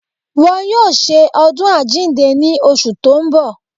Wọ́n yóò ṣe ọdún àjíǹde ní oṣù tó ń bọ̀